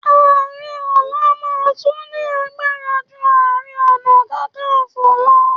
Ààrẹ ọ̀la máa tún ní agbara ju Ààrẹ Ọ̀nà Kakaǹfò lọ.